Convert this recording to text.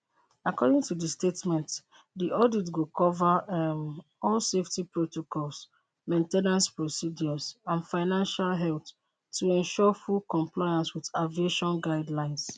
according to di statement di audit go cover um all safety protocols main ten ance procedures and financial health to ensure full compliance wit aviation guidelines